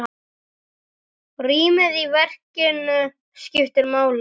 Rýmið í verkinu skiptir máli.